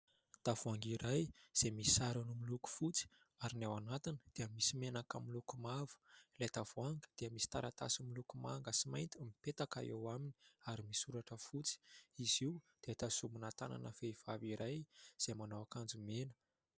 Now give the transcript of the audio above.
Tavoahangy iray izay misy sarony miloko fotsy ary ny ao anatiny dia misy menaka miloko mavo. ilay tavoahangy dia misy taratasy miloko manga sy mainty mipetaka eo aminy ary misy soratra fotsy. Izy io dia tazonina tanana vehivavy iray izay manao akanjo mena.